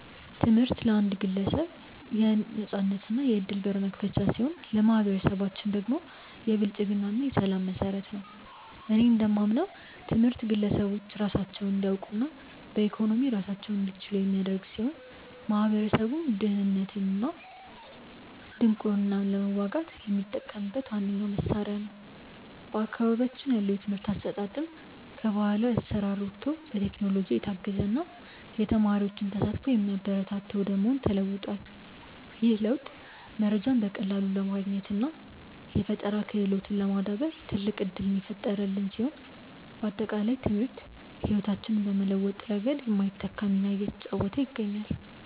ትምህርት ለአንድ ግለሰብ የነፃነትና የዕድል በር መክፈቻ ሲሆን፣ ለማኅበረሰባችን ደግሞ የብልጽግና እና የሰላም መሠረት ነው። እኔ እንደማምነው ትምህርት ግለሰቦች ራሳቸውን እንዲያውቁና በኢኮኖሚ ራሳቸውን እንዲችሉ የሚያደርግ ሲሆን፣ ማኅበረሰቡም ድህነትንና ድንቁርናን ለመዋጋት የሚጠቀምበት ዋነኛው መሣሪያ ነው። በአካባቢያችን ያለው የትምህርት አሰጣጥም ከባሕላዊ አሠራር ወጥቶ በቴክኖሎጂ የታገዘና የተማሪዎችን ተሳትፎ የሚያበረታታ ወደ መሆን ተለውጧል። ይህ ለውጥ መረጃን በቀላሉ ለማግኘትና የፈጠራ ክህሎትን ለማዳበር ትልቅ ዕድል የፈጠረልን ሲሆን፣ ባጠቃላይ ትምህርት ሕይወታችንን በመለወጥ ረገድ የማይተካ ሚና እየተጫወተ ይገኛል።